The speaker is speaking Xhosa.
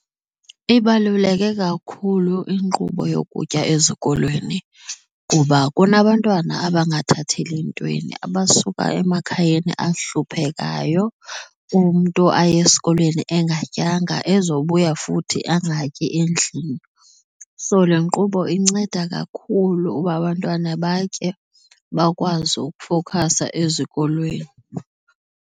Ibaluleke kakhulu inkqubo yokutya ezikolweni kuba kunabantwana abangathateli ntweni, abasuka emakhayeni ahluphekayo umntu aye esikolweni engatyanga ezobuya futhi angatyi endlini. So, le nkqubo inceda kakhulu uba abantwana batye bakwazi ukufowukhasa ezikolweni.